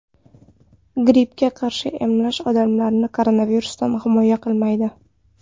Grippga qarshi emlash, odamlarni koronavirusdan himoya qilmaydi.